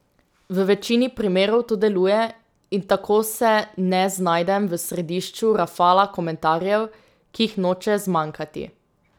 V večini primerov to deluje in tako se ne znajdem v središču rafala komentarjev, ki jih noče zmanjkati.